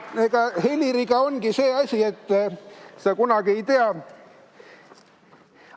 Eks Heliriga ongi see asi, et kunagi sa ei tea.